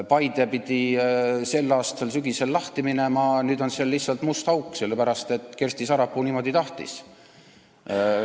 Paides pidi selle aasta sügisel kool avatama, nüüd on seal lihtsalt must auk, sellepärast et Kersti Sarapuu niimoodi tahtis.